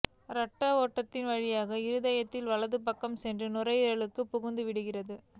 இரத்த ஓட்டத்தின் வழியாக இருதயத்தின் வலது பக்கம் சென்று நுரையியலுக்குள் புகுந்துவிடுகிது